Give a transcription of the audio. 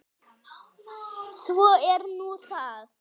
Svo er nú það.